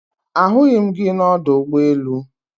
Ahughi m gi na Odo Ugbo elu